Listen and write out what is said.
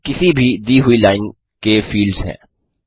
निम्नकिसी भी दी हुई लाइन के फील्ड्स हैं